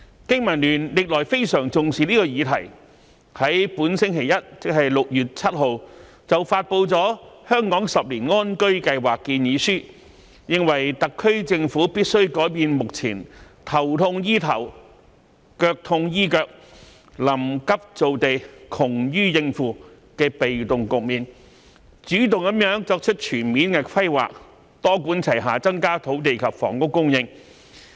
經民聯歷來非常重視這項議題，在本星期一6月7日便發布了《香港十年安居計劃》建議書，認為特區政府必須改變目前"頭痛醫頭、腳痛醫腳、臨急造地、窮於應付"的被動局面，主動作出全面規劃，多管齊下增加土地及房屋供應。